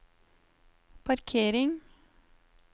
parkering